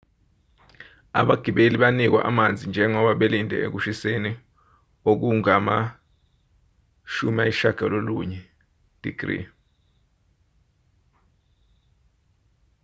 abagibeli banikwa amanzi njengoba belinde ekushiseni okungama-90f-digiliyi